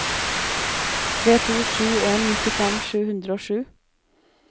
tre to sju en nittifem sju hundre og sju